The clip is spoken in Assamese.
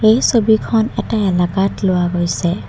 এই ছবিখন এটা এলেকাত লোৱা গৈছে।